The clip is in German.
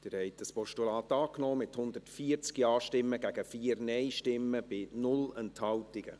Sie haben das Postulat angenommen, mit 140 Ja- gegen 4 Nein-Stimmen bei 0 Enthaltungen.